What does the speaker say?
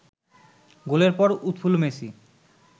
গোলের পর উৎফুল্ল মেসি